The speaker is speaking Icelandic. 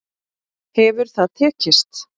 Hefur það tekist?